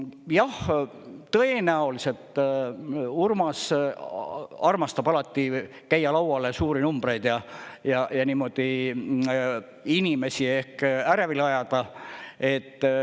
Jah, tõenäoliselt Urmas armastab alati käia lauale suuri numbreid ja niimoodi inimesi ehk ärevile ajada.